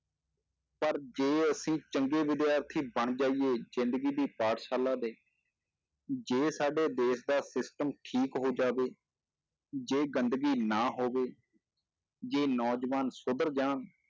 ਪਰ ਜੇ ਅਸੀਂ ਚੰਗੇ ਵਿਦਿਆਰਥੀ ਬਣ ਜਾਈਏ ਜ਼ਿੰਦਗੀ ਦੀ ਪਾਠਸ਼ਾਲਾ ਦੇ, ਜੇ ਸਾਡੇ ਦੇਸ ਦਾ system ਠੀਕ ਹੋ ਜਾਵੇ, ਜੇ ਗੰਦਗੀ ਨਾ ਹੋਵੇ, ਜੇ ਨੌਜਵਾਨ ਸੁਧਰ ਜਾਣ,